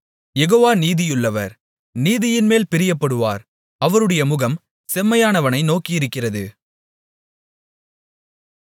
யெகோவா நீதியுள்ளவர் நீதியின்மேல் பிரியப்படுவார் அவருடைய முகம் செம்மையானவனை நோக்கியிருக்கிறது